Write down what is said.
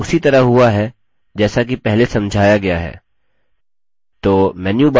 यह उसी तरह हुआ है जैसा कि पहले समझाया गया है